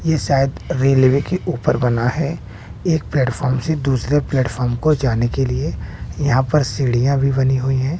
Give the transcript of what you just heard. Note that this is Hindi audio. ये शायद रेलवे के ऊपर बना है एक प्लेटफार्म से दूसरे प्लेटफार्म को जाने के लिए यहां पर सीढ़ियां भी बनी हुई हैं।